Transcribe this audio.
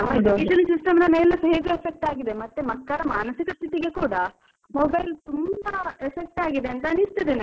Education system ನೆಲ್ಲಾ ಹೇಗೂ affect ಆಗಿದೆ, ಮತ್ತೆ ಮಕ್ಕಳ ಮಾನಸಿಕ ಸ್ಥಿತಿಗೆ ಕೂಡ mobile ತುಂಬಾ effect ಆಗಿದೆ ಅಂತ ಅನಿಸ್ತದೆ ನನ್ಗೆ.